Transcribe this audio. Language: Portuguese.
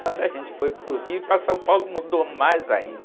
Quando a gente foi para o Rio e para São Paulo, mudou mais ainda.hum.